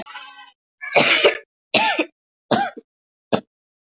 Jakka, buxur og skó, sönglaði símstjórinn.